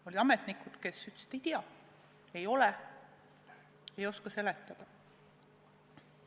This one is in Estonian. Olid ametnikud, kes ütlesid, et ei tea, ei ole, ei oska seletada.